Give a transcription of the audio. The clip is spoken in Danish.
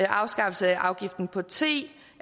afskaffelse af afgiften på te